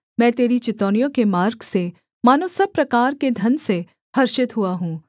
मैं तेरी चितौनियों के मार्ग से मानो सब प्रकार के धन से हर्षित हुआ हूँ